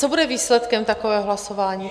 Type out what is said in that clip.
Co bude výsledkem takového hlasování?